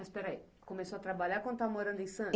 Mas, peraí, começou a trabalhar quando estava morando em Santos?